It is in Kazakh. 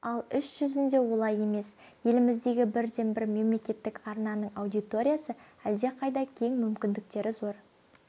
ал іс жүзінде олай емес еліміздегі бірден-бір мемлекеттік арнаның аудиториясы әлдеқайда кең мүмкіндіктері зор